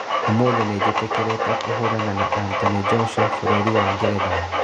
Ũmũthĩ nĩnjĩtĩkĩrĩte kũhũrana na Anthony Joshua bũrũri wa Ngeretha